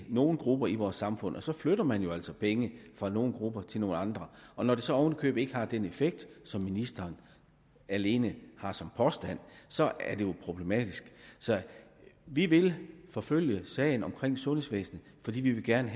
nogle grupper i vores samfund så flytter man jo altså penge fra nogle grupper til nogle andre og når det så oven i købet ikke har den effekt som ministeren alene har som påstand så er det jo problematisk vi vil forfølge sagen omkring sundhedsvæsenet fordi vi gerne